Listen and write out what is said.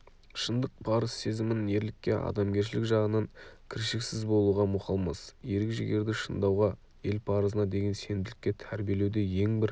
шындық парыз сезімін ерлікке адамгершілік жағынан кіршіксіз болуға мұқалмас ерік-жігерді шындауға ел парызына деген сенімділікке тәрбиелеуде ең бір